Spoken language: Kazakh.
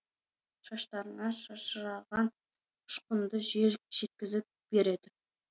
шаштарыңнан шашыраған ұшқынды жел жеткізіп береді